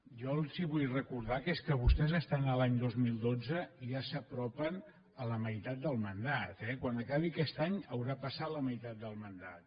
jo els vull recordar que és que vostès estan a l’any dos mil dotze i ja s’apropen a la meitat del mandat eh quan acabi aquest any haurà passat la meitat del mandat